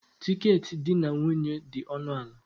Tiketi di na nwunye dị ọnụ ala.